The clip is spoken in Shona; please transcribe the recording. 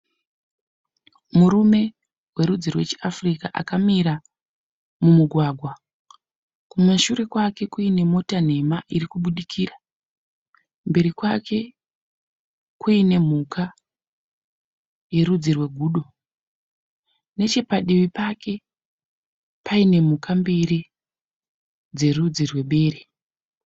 Murume werudzi rwechiAfrica akamira mumugwagwa. Kumashure kwake kuine mota nhema irikubudikira. Mberi kwake kuine mhuka yerudzi rwegudo. Nechepadivi pake paine mhuka mbiri dzerudzi rwebere.